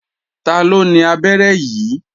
Taló ni abẹ́rẹ́ yìí?